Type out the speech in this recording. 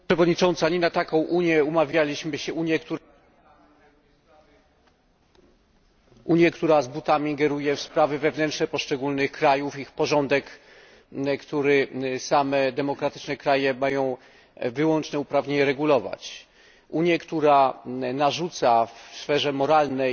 Pani Przewodnicząca! Nie na taką Unię umawialiśmy się Unię, która z butami ingeruje w sprawy wewnętrzne poszczególnych krajów, ich porządek, który demokratyczne kraje mają same wyłączne uprawnienia regulować, Unię, która narzuca w sferze moralnej